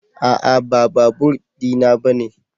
A'a ba babur di na bane.